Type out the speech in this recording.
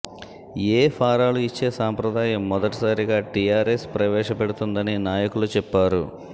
ఎ ఫారాలు ఇచ్చే సంప్రదాయం మొదటిసారిగా టిఆర్ఎస్ ప్రవేశపెడుతుందని నాయకులు చెప్పారు